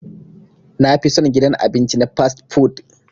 Na fi son gidan abinci na "fast-food".